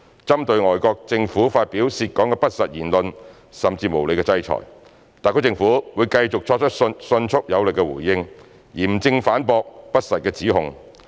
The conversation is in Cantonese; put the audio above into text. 針對外國政府發表涉港的不實言論，甚至無理的制裁，特區政府會繼續作出迅速有力回應，嚴正反駁不實指控。